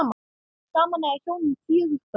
Saman eiga hjónin fjögur börn.